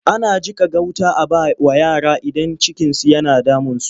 Ana jiƙa gauta a ba wa yara idan cikinsu yana damunsu.